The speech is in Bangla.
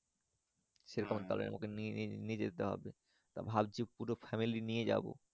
সে রকম ভাবে তো নিনিনিয়ে যেতে হবে তো ভাবছি পুরো Family নিয়ে যাবো।